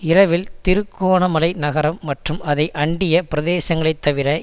இரவில் திருகோணமலை நகரம் மற்றும் அதை அண்டிய பிரதேசங்களைத் தவிர